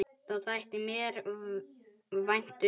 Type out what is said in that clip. Það þætti mér vænt um